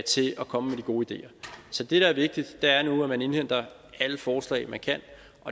komme med de gode ideer så det der er vigtigt er nu at man indhenter alle forslag man kan